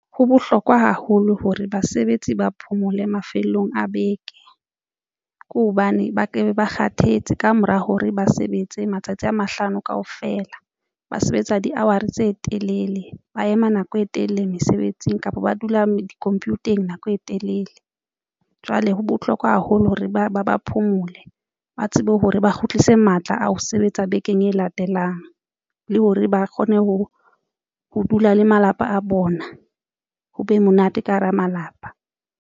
Ho bohlokwa haholo hore basebetsi ba phomole mafelong a beke ke hobane ba ke ba kgathetse kamora hore ba sebetse matsatsi a mahlano kaofela, ba sebetsa di-hour tse telele, ba ema nako e telele mesebetsing kapa ba dula di-computer-eng nako e telele. Jwale ho bohlokwa haholo hore ba phomole ba tsebe hore ba kgutlise matla a ho sebetsa bekeng e latelang le hore ba kgone ho ho dula le malapa a bona ho be monate ka hara malapa.